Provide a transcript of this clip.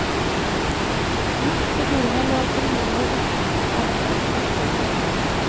Midt pågulvet lå et rullebord dekket av et laken.